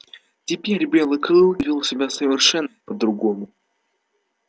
теперь белый клык вёл себя совершенно по другому